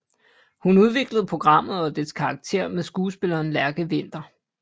Hun udviklede programmet og dets karakterer med skuespilleren Lærke Winther